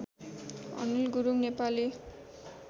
Anil Gurung Nepali